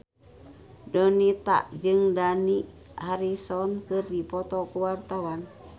Donita jeung Dani Harrison keur dipoto ku wartawan